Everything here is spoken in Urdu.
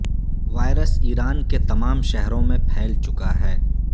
وائرس ایران کے تمام شہروں میں پھیل چکا ہے